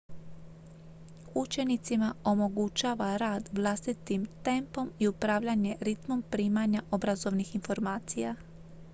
učenicima omogućava rad vlastitim tempom i upravljanje ritmom primanja obrazovnih informacija